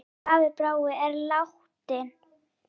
Elsku afi Bragi er látinn.